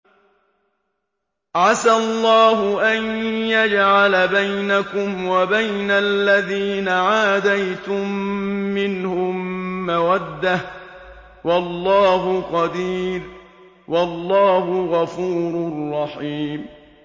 ۞ عَسَى اللَّهُ أَن يَجْعَلَ بَيْنَكُمْ وَبَيْنَ الَّذِينَ عَادَيْتُم مِّنْهُم مَّوَدَّةً ۚ وَاللَّهُ قَدِيرٌ ۚ وَاللَّهُ غَفُورٌ رَّحِيمٌ